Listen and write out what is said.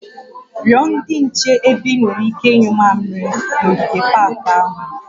Rịọ ndị nche ebe ị nwere ike ịnyụ mmamịrị n'ogige pak ahụ